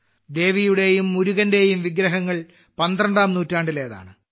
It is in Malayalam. ദേവിയുടെയും മുരുകന്റെയും വിഗ്രഹങ്ങൾ പന്ത്രണ്ടാം നൂറ്റാണ്ടിലേതാണ്